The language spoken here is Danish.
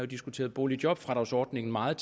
diskuteret boligjobfradragsordningen meget